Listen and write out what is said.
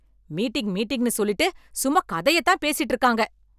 meeting meeting சொல்லிட்டு சும்மா கதையே தான் பேசிட்டு இருக்காங்க